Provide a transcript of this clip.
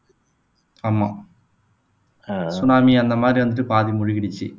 ஆமா சுனாமி அந்த மாதிரி வந்துட்டு பாதி மூழ்கிடுச்சு